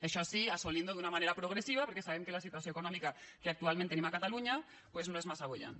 això sí assolint ho d’una manera progressiva perquè sabem que la situació econòmica que actualment tenim a catalunya no és massa pròspera